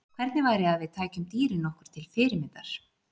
Hvernig væri að við tækjum dýrin okkur til fyrirmyndar?